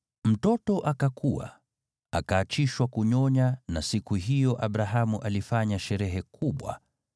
Mtoto akakua, akaachishwa kunyonya. Siku hiyo Isaki alipoachishwa kunyonya, Abrahamu alifanya sherehe kubwa.